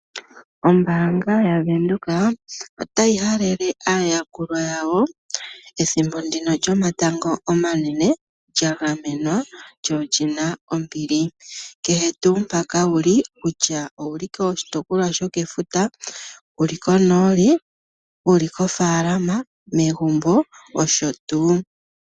Ombaanga yaVenduka otayi halele aayakulwa yawo ethimbo lyomatango omanene lya gamenwa lyo oli na ombili. Kehe tuu mpoka wu li kutya owu li koshitopolwa shokefuta, wu li konooli, wu li kofaalama, megumbo nosho tuu.